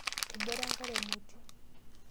Ebore enkare emoti.